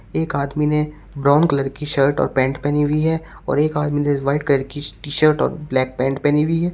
एक आदमी ने ब्राउन कलर की शर्ट और पैंट पहनी हुई है और एक आदमी ने वाइट कलर की टी शर्ट और ब्लैक पैंट पहनी हुई है।